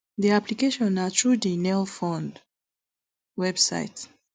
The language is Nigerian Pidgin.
di application na through di nelfund website